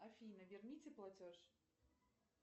афина верните платеж